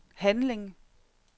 handling